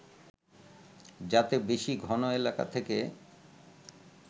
যাতে বেশি ঘন এলাকা থেকে